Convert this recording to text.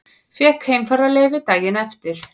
Fékk heimfararleyfi daginn eftir.